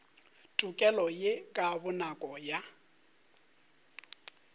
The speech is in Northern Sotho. tokelo ye ka bonako ya